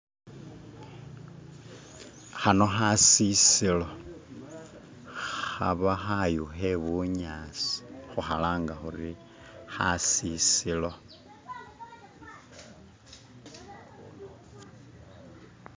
Khano khasisilo khaba khayu khe bunyasi khu khalanga khuri khasisilo